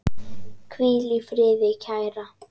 Hvíl í friði, kæra.